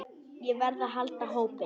Við verðum að halda hópinn!